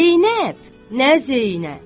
Zeynəb, nə Zeynəb!